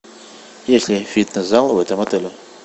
есть ли фитнес зал в этом отеле